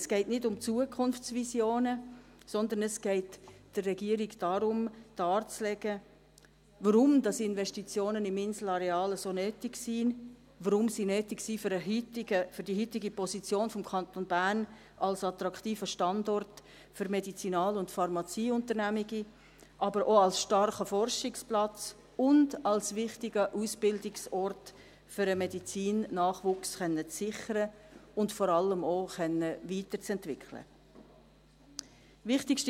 Es geht nicht um Zukunftsvisionen, sondern es geht der Regierung darum, darzulegen, weshalb Investitionen im Inselareal so nötig sind, weshalb sie nötig sind für die heutige Position des Kantons Bern als attraktiver Standort für Medizinal- und Pharmazieunternehmungen, aber auch als starker Forschungsplatz und als wichtiger Ausbildungsort, um den Medizinnachwuchs sichern und vor allem auch weiterentwickeln zu können.